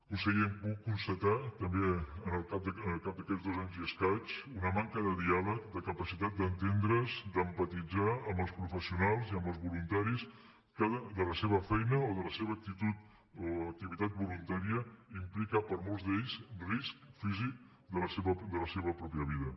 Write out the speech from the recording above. conseller hem pogut constatar també al cap d’aquests dos anys i escaig una manca de diàleg de capacitat d’entendre’s d’empatitzar amb els professionals i amb els voluntaris que la seva feina o la seva actitud o activitat voluntària implica per a molts d’ells risc físic de la seva pròpia vida